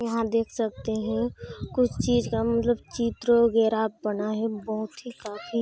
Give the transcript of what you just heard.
यहाँ देख सकते हैं कुछ चीज का मतलब चित्र वगैरह बना है बहोत ही काफी--